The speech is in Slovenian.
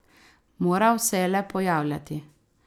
Moral se je le pojavljati.